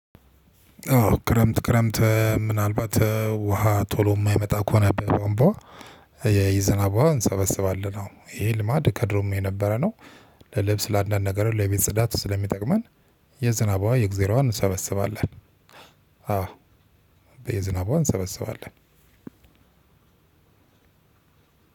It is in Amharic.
አዎ ክረምት ክረምት ምናልባት ውሃ ቶሎ የማይመጣ ከሆነ በቧንቧ የዝናብ ውሃ እንሰበስባለን ይሄ ልማድ ከድሮም የነበረ ነው። ለልብስ ለአንዳንድ ነገር ለቤት ጽዳት ስለሚጠቅመን የዝናብ ውሃ የእግዜርውሃ እንሰበስባለን። አዎ የዝናብ ውሃ እንሰበስባለን።